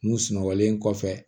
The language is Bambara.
N'u sunɔgɔlen kɔfɛ